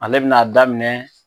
Ale be na daminɛ